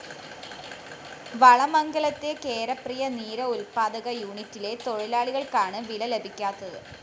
വളമംഗലത്തെ കേരപ്രിയ നീര ഉല്‍പ്പാദക യൂണിറ്റിലെ തൊഴിലാളികള്‍ക്കാണ് വില ലഭിക്കാത്തത്